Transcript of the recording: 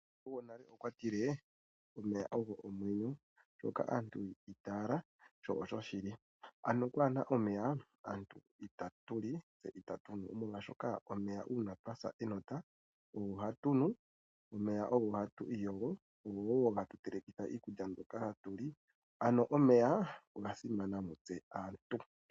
Omukulu gonale okwa tilee, omeya ogo omwenyo ,osho aantu yiitala sho osho shili . Ano kwaana omeya, aantu itatu li se itatu nu, molwaashoka omeya uuna twa sa enota ogo hatu nu. Omeya ogo hatu iyogo go ogo hatu teleketha iikulya mbyoka hatu li. Ano omeya oga simana mutse aantu.